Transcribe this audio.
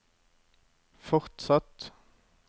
fortsatt